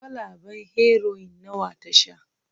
kwalaben Heroin nawa ta sha